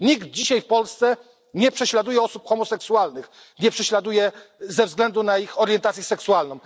Nikt dzisiaj w Polsce nie prześladuje osób homoseksualnych, nie prześladuje ze względu na ich orientację seksualną.